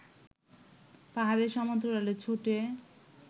পাহাড়ের সমান্তরালে ছোটে